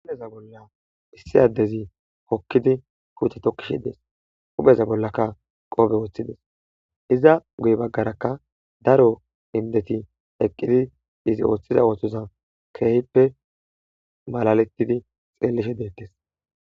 hupheza bolla issi addezi hokkidi huute tokkishi dees upheza bollakka qoobe woththides iza guy baggarakka daro hindeti eqqidi izi ooththiza ooththoza keehippe malaletidi xeellishe deettes.